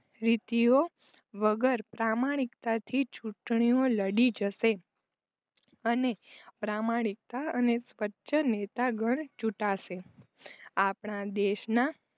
વીંટીઓ વગર પ્રામાણિકતા થી ચુટણીઓ લડી જ હશે અને પ્રામાણિકતા અને સ્વચ્છ નેતા ગન ચૂંટાશે આપણા દેશના